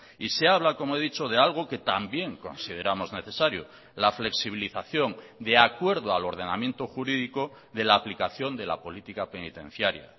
y se habla como he dicho de algo que también consideramos necesario la flexibilización de acuerdo al ordenamiento jurídico de la aplicación de la política penitenciaria